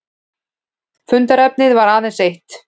Fundarefnið var aðeins eitt